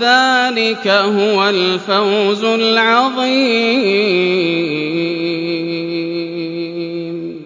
ذَٰلِكَ هُوَ الْفَوْزُ الْعَظِيمُ